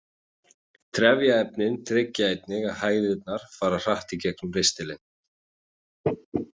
Trefjaefnin tryggja einnig að hægðirnar fara hratt í gegnum ristilinn.